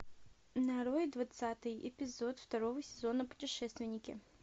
нарой двадцатый эпизод второго сезона путешественники